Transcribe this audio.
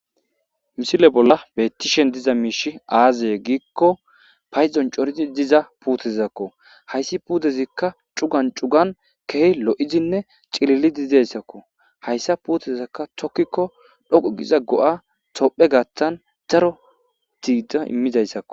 Misile bolla bettishen diza miishi aaziye giikko payzon coridi diza puutezakko hayssi puudezikka cugan cugan keeh lo7idinne cililidi dayssakko hayssa puutezakka tokkikko dhoqu giza go7a topphe gaattan daro diida immidayssakko.